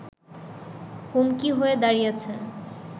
হুমকি হয়ে দাঁড়িয়েছে